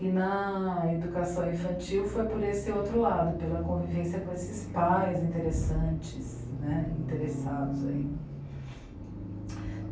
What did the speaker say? E na educação infantil foi por esse outro lado, pela convivência com esses pais interessantes né, interessados.